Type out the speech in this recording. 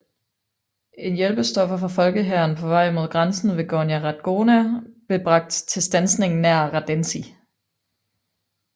En hjælpestoffer fra Folkehæren på vej mod grænsen ved Gornja Radgona blev bragt til standsning nær Radenci